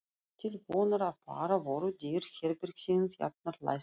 Til vonar og vara voru dyr herbergisins jafnan læstar.